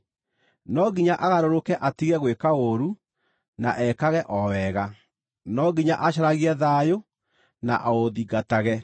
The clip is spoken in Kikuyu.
No nginya agarũrũke atige gwĩka ũũru, na ekage o wega; no nginya acaragie thayũ na aũthingatage.